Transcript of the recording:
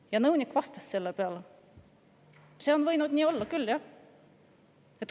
Ja nõunik vastas selle peale: "See on võinud olla nii küll, jah.